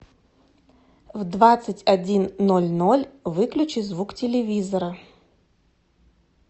в двадцать один ноль ноль выключи звук телевизора